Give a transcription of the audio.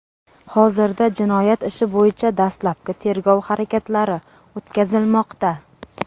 Hozirda jinoyat ishi bo‘yicha dastlabki tergov harakatlari o‘tkazilmoqda.